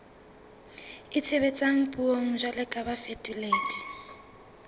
itshebetsang puong jwalo ka bafetoledi